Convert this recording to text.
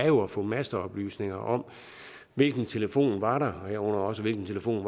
jo at få masteoplysninger om hvilken telefon der var der herunder også hvilken telefon